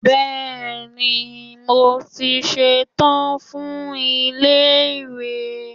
Bẹ́ẹ̀ni, mo ti ṣetán fún ilé ìwé.